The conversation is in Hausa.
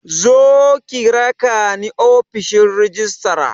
Zo ki rakani ofishin rajistira